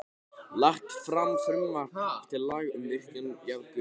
Lagt fram frumvarp til laga um virkjun jarðgufu í